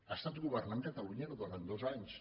ha estat governant catalunya durant dos anys